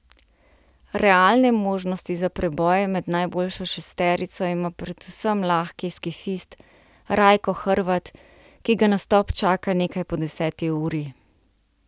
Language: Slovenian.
Realne možnosti za preboj med najboljšo šesterico ima predvsem lahki skifist Rajko Hrvat, ki ga nastop čaka nekaj po deseti uri.